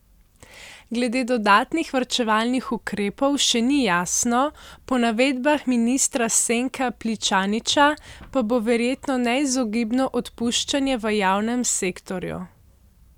Glede dodatnih varčevalnih ukrepov še ni jasno, po navedbah ministra Senka Pličaniča pa bo verjetno neizogibno odpuščanje v javnem sektorju.